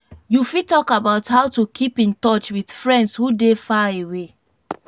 you fit talk about how to keep in touch with friends who dey far away.